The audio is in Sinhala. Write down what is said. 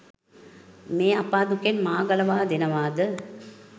මේ අපා දුකෙන් මා ගලවා දෙනවාද?